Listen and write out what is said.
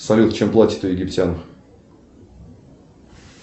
салют чем платят у египтян